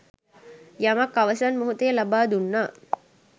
යමක් අවසන් මෙහොතේ ලබා දුන්නා